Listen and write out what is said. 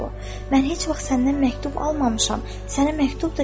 "Mən heç vaxt səndən məktub almamışam, sənə məktub da göndərməmişəm.